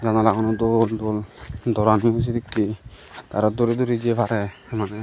janalaguno dol dol doorani yo sedekkey aro duri duri jei parey maneh.